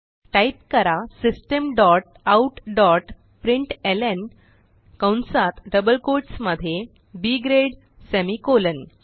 type करा system dot out dot प्रिंटलं कंसात डबल कोट्स मध्ये बी ग्रेड सेमिकोलॉन